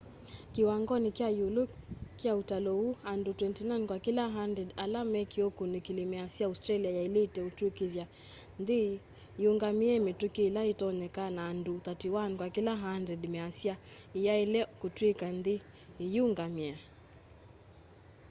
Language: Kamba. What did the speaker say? kiwangoni kya iũlu kya ũtalo ũu andu 29 kwa kila 100 ala mekiwe ukũnikili measya australia yailite ũtwikithya nthi yiyungamie mitũki ila itonyeka na andũ 31 kwa kila 100 measya iyaile kutwika nthi yiyũngamie